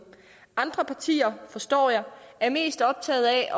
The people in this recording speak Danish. andre partier forstår jeg er mest optaget af